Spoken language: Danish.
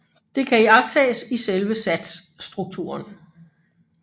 Det kan iagttages i selve satsstrukturen